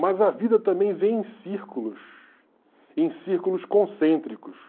Mas a vida também vem em círculos, em círculos concêntricos.